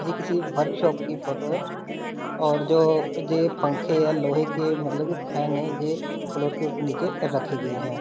जे किसी वर्कशॉप की फोटो है और जो जे पंखे है लोहे की मतलब की फ़ैन है जे फ्लोर के नीचे रखी गई हैं।